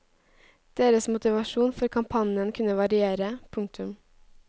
Deres motivasjon for kampanjen kunne variere. punktum